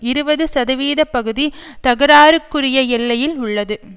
இருபது சதவீத பகுதி தகராறுக்குரிய எல்லையில் உள்ளது